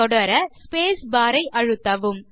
தொடர space bar ஐ அழுத்தவும்